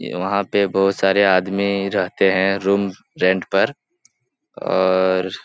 ई वहाँ पर बहुत सारे आदमी रहते हैं रूम रेंट पर और --